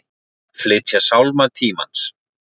Flytja Sálma tímans